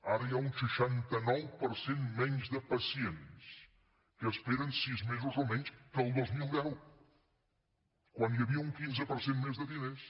ara hi ha un seixanta nou per cent menys de pacients que esperen sis mesos o menys que al dos mil deu quan hi havia un quinze per cent més de diners